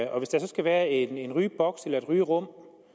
og hvis der så skal være en rygeboks eller et rygerum